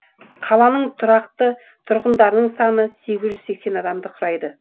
қаланың тұрақты тұрғындарының саны сегіз жүз сексен адамды құрайды